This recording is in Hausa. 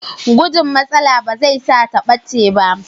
Gujin matsala ba zai sa ta ɓace ba.